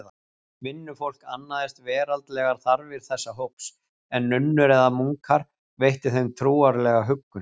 Vinnufólk annaðist veraldlegar þarfir þessa hóps, en nunnur eða munkar veittu þeim trúarlega huggun.